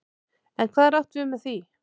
En hvað er átt við með því?